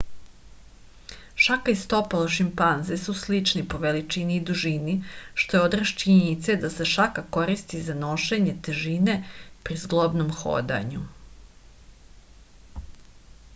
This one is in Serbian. šaka i stopalo šimpanze su slični po veličini i dužini što je odraz činjenice da se šaka koristi za nošenje težine pri zglobnom hodanju